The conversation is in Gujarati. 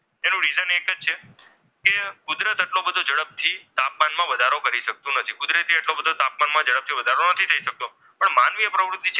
શકતું નથી કુદરતી રીતે તાપમાનમાં એટલો ઝડપથી વધારો નથી થઈ શકતો પણ માનવીય પ્રવૃત્તિ,